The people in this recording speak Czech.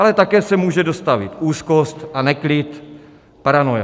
Ale také se může dostavit úzkost a neklid, paranoia.